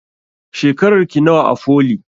Shekarar ki nawa a foli?